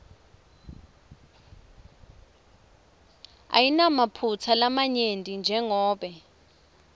ayinamaphutsa lamanyenti njengobe